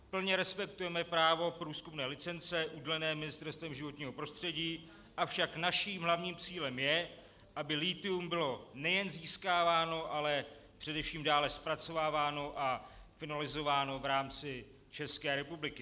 Plně respektujeme právo průzkumné licence udělené Ministerstvem životního prostředí, avšak naším hlavním cílem je, aby lithium bylo nejen získáváno, ale především dále zpracováváno a finalizováno v rámci České republiky.